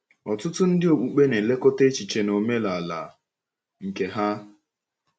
Ọtụtụ ndị okpukpe na -elekọta echiche na omenala nke ha.